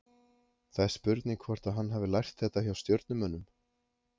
Það er spurning hvort að hann hafi lært þetta hjá Stjörnumönnum?